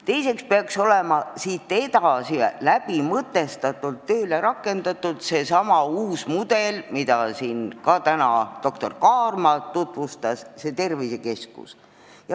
Teiseks peaks olema läbimõtestatult tööle rakendatud seesama uus mudel, mida siin täna doktor Kaarma tutvustas, s.o tervisekeskus.